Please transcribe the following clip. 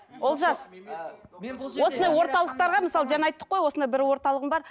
олжас осындай орталықтарға мысалы жаңа айттық қой осындай бір орталығым бар